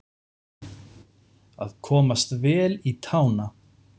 Að komast vel í tána